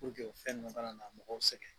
o fɛn ninnu kana na mɔgɔw sɛgɛn.